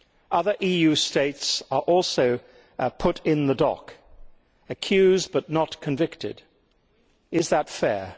Other Member States are also put in the dock, accused but not convicted. Is that fair?